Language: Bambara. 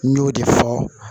N y'o de fɔ